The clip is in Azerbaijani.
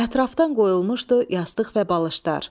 Ətrafdan qoyulmuşdu yastıq və balışlar.